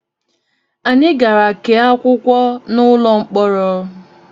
Anyị gara kee akwụkwọ n'ụlọ mkpọrọ